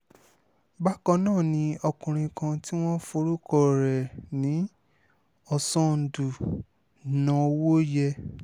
bákan náà ni ọkùnrin kan tí wọ́n forúkọ rẹ̀ ní ọ̀ṣọ́ńdù nọ̀wòyé